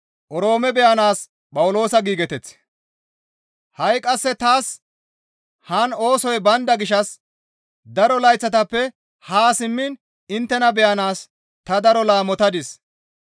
Ha7i qasse taas haan oosoy baynda gishshas daro layththatappe haa simmiin inttena beyanaas ta daro laamotadis.